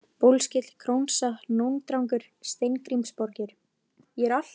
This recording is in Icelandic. Bólskíll, Krónsa, Nóndrangur, Steingrímsborgir